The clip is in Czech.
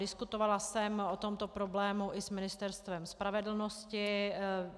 Diskutovala jsem o tomto problému i s Ministerstvem spravedlnosti.